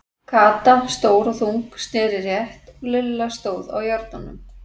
Kata, stór og þung, sneri rétt og Lilla stóð á járnunum.